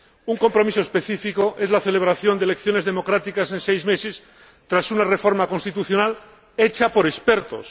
Un compromiso específico es la celebración de elecciones democráticas en seis meses, tras una reforma constitucional hecha por expertos.